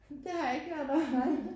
Det har jeg ikke hørt om